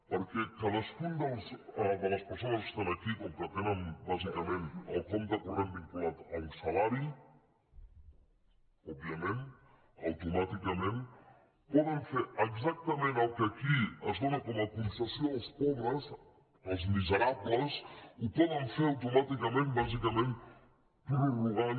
perquè cadascuna de les persones que estan aquí com que tenen bàsicament el compte corrent vinculat a un salari òbviament automàticament poden fer exactament el que aquí es dóna com a concessió als pobres als miserables ho poden fer automàticament bàsicament prorrogant